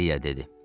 İliya dedi.